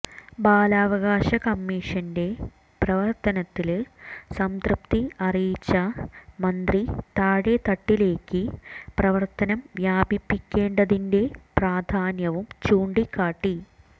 ബാലാവകാശ കമ്മീഷന്റെ പ്രവര്ത്തനത്തില് സംതൃപ്തി അറിയിച്ച മന്ത്രി താഴെത്തട്ടിലേക്ക് പ്രവര്ത്തനം വ്യാപിപ്പിക്കേണ്ടതിന്റെ പ്രാധാന്യവും ചൂണ്ടിക്കാട്ടി